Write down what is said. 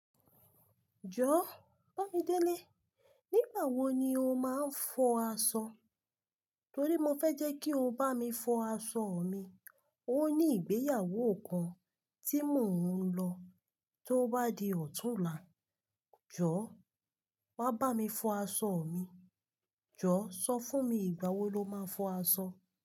Jọ, Bámidéle, nígbà wo ni o máa ń fọ aṣọ? Torí mo fẹ́ jẹ́ kí o bá mi fọ aṣọ mi. Ó ní ìgbéyàwó kan tí mò ń lọ tó bá di ọ̀túnla. Jọ, wá bá mi fọ aṣọ mi. Jọ, sọ fún mi ìgbà wo lo máa ń fọ aṣọ?